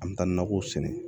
An bɛ taa nakɔw sɛnɛ